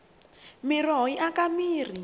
miroho yi aka mirhi